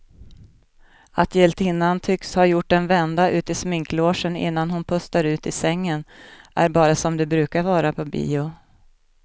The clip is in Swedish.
Att hjältinnan tycks ha gjort en vända ut i sminklogen innan hon pustar ut i sängen är bara som det brukar vara på bio.